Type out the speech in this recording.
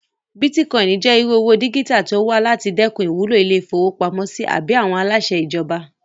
Bítíkọ́ìnì jẹ́ irú owó dígítà tó wà láti dẹkùn ìwúlò ilé-ìfowópamọ́sí àbí àwọn aláṣẹ ìjọba